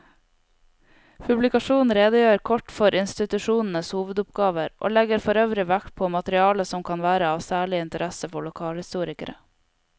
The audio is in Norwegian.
Publikasjonen redegjør kort for institusjonenes hovedoppgaver og legger forøvrig vekt på materiale som kan være av særlig interesse for lokalhistorikere.